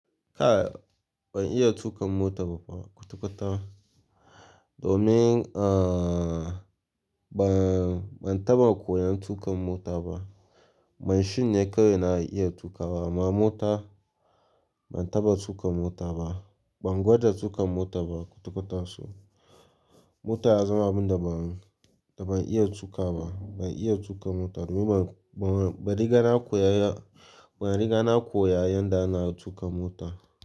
Ka, ban iya tuƙan mota ba fa kwata-kwata. Domin, uh, ban, ban taɓa koyan tuƙan mota ba. Machine ne kawai na iya tuƙa wa. Ma mota, ban taɓa tuƙa mota ba. Ban gwada tuƙa mota ba kwata-kwata so. Mota ya zama abin da ban, da ban iya tuƙa ba. Ban iya tuƙa mota domin ba, ba, ban riga na koya ya, ba riga na koya yanda ana tuƙa mota.